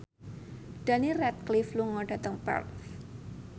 Daniel Radcliffe lunga dhateng Perth